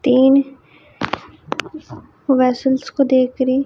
तीन वेसल्स को देख रही।